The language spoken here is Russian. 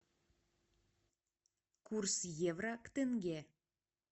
курс евро к тенге